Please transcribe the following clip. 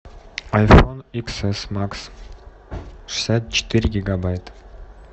айфон икс эс макс шестьдесят четыре гигабайта